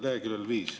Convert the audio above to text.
See on leheküljel 5.